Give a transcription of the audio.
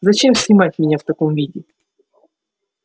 зачем снимать меня в таком виде